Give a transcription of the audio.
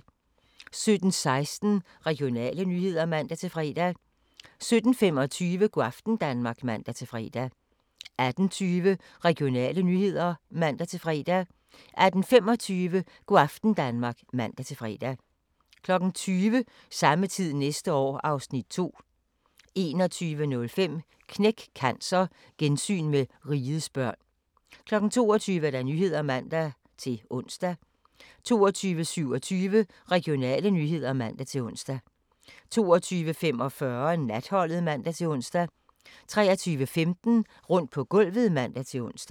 17:16: Regionale nyheder (man-fre) 17:25: Go' aften Danmark (man-fre) 18:20: Regionale nyheder (man-fre) 18:25: Go' aften Danmark (man-fre) 20:00: Samme tid næste år (Afs. 2) 21:05: Knæk Cancer: Gensyn med Rigets børn 22:00: Nyhederne (man-ons) 22:27: Regionale nyheder (man-ons) 22:45: Natholdet (man-ons) 23:15: Rundt på gulvet (man-ons)